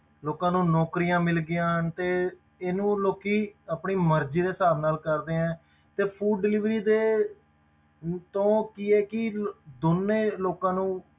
ਲੋਕਾਂ ਨੂੰ ਨੌਕਰੀਆਂ ਮਿਲ ਗਈਆਂ ਤੇ ਇਹਨੂੰ ਲੋਕੀ ਆਪਣੀ ਮਰਜ਼ੀ ਦੇ ਹਿਸਾਬ ਨਾਲ ਕਰਦੇ ਹੈ ਤੇ food delivery ਦੇ ਤੋਂ ਕੀ ਇਹ ਕੀ ਦੋਨੇਂ ਲੋਕਾਂ ਨੂੰ,